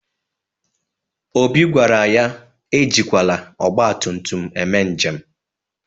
Obi gwara ya e jikwala ọgbatụmtụm eme njem.